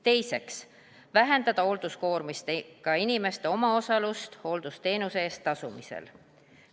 Teiseks, vähendada hoolduskoormust, ka inimeste omaosalust hooldusteenuse eest tasumisel.